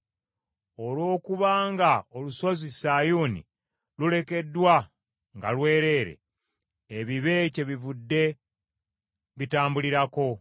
Olw’okuba nga olusozi Sayuuni lulekeddwa nga lwereere, ebibe kyebivudde bitambulirako.